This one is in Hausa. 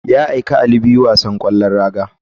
Ya aika ali biyu wasan kwallon raga.